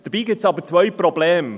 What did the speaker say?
Dabei gibt es aber zwei Probleme: